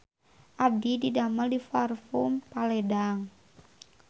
Abdi didamel di Parfume Paledang